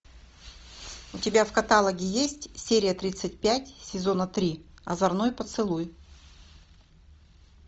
у тебя в каталоге есть серия тридцать пять сезона три озорной поцелуй